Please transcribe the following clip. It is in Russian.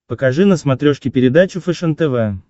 покажи на смотрешке передачу фэшен тв